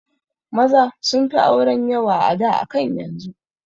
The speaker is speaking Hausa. Maza sunfi auren yawa a da akan yanzu